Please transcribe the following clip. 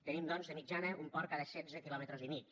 tenim doncs de mitjana un port cada setze quilòmetres i mig